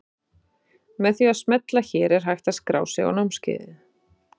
Með því að smella hér er hægt að skrá sig á námskeiðið.